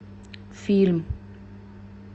фильм